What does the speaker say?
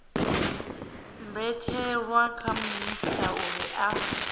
mbetshelwa kha minisita uri a